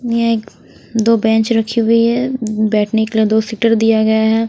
ये दो बेंच रखी हुई है बैठने के लिए दो सीटर दिया गया है।